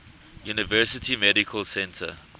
university medical center